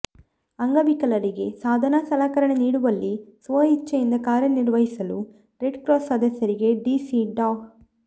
ಅಂಗವಿಕಲರಿಗೆ ಸಾಧನ ಸಲಕರಣೆ ನೀಡುವಲ್ಲಿ ಸ್ವ ಇಚ್ಛೆಯಿಂದ ಕಾರ್ಯನಿರ್ವಹಿಸಲು ರೆಡ್ ಕ್ರಾಸ್ ಸದಸ್ಯರಿಗೆ ಡಿಸಿ ಡಾ